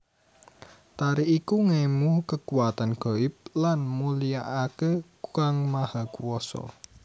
Tari iku ngemu kekuwatan ghaib lan mulyakake Kang Maha Kuwasa